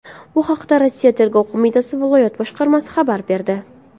Bu haqda Rossiya Tergov qo‘mitasi viloyat boshqarmasi xabar berdi .